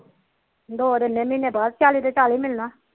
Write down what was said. ਦੋ ਦਿੰਦੇ ਮਹੀਨੇ ਬਾਅਦ ਚਾਲੀ ਦਾ ਚਾਲੀ ਮਿਲਣਾ